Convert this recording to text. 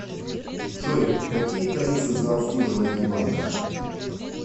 джой какие тарифы за обслуживание банка